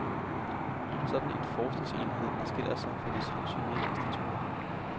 En sådan forskningsenhed adskiller sig fra de traditionelle institutter.